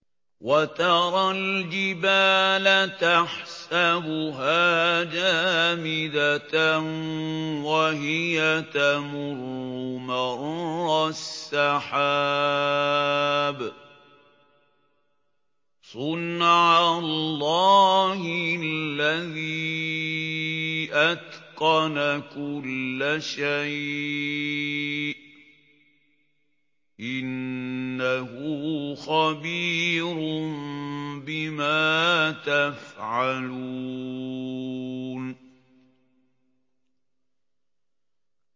وَتَرَى الْجِبَالَ تَحْسَبُهَا جَامِدَةً وَهِيَ تَمُرُّ مَرَّ السَّحَابِ ۚ صُنْعَ اللَّهِ الَّذِي أَتْقَنَ كُلَّ شَيْءٍ ۚ إِنَّهُ خَبِيرٌ بِمَا تَفْعَلُونَ